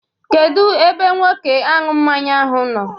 Kedu Nwoke aṅụ mmanya ahụ nọ?